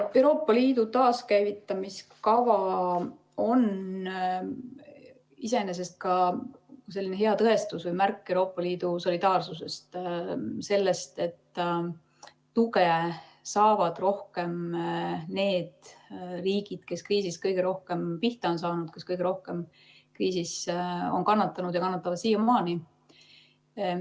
Euroopa Liidu taaskäivitamise kava on iseenesest ka hea tõestus või märk Euroopa Liidu solidaarsusest, sellest, et tuge saavad rohkem need riigid, kes kriisis kõige rohkem pihta on saanud, kes kõige rohkem kriisis on kannatanud ja kannatavad siiamaani.